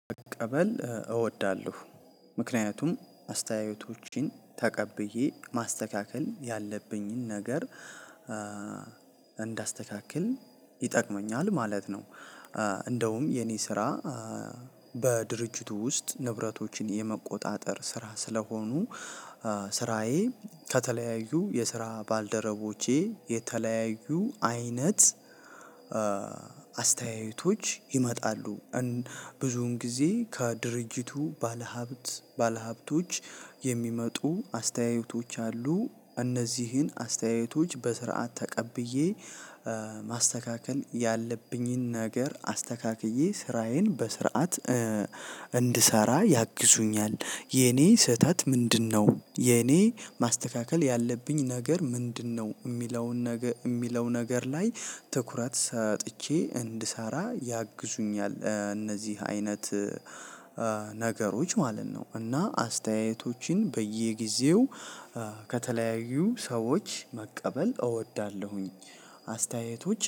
መቀበል እወዳለሁ ምክንያቱም አስተያየቶችን ተቀብዬ ማስተካከል ያለብኝን ነገር እንዳስተካክል ይጠቅመኛል ማለት ነው። እንደውም የኔ ስራ በድርጅቱ ውስጥ ንብረቶችን የመቆጣጠር ስራ ስለሆኑ ስራዬ ከተለያዩ የስራ ባልደረቦቼ የተለያዩ አይነት አስተያየቶች ይመጣሉ። ብዙን ጊዜ ከድርጅቱ ባለሀብት ባለሀብቶች የሚመጡ አስተያየቶች አሉ። እነዚህን አስተያየቶች በስርዓት ተቀብዬ ማስተካከል ያለብኝን ነገር አስተካክዬ ስራዬን በስርዓት እንድሰራ ያግዙኛል። የኔ ስህተት ምንድነው የኔ ማስተካከል ያለብኝ ነገር ምንድነው? የሚለውን ነገር ላይ ትኩረት ሰጥቼ እንድሰራ ያግዙኛል። እነዚህ አይነት ነገሮች ማለት ነው። እና አስተያየቶችን በየጊዜው ከተለያዩ ሰዎች መቀበል እወዳለሁኝ። አስተያየቶች